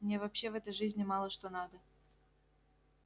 мне вообще в этой жизни мало что надо